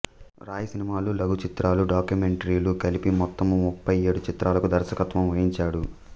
రాయ్ సినిమాలు లఘు చిత్రాలు డాక్యుమెంటరీలు కలిపి మొత్తము ముప్పై ఏడు చిత్రాలకు దర్శకత్వము వహించాడు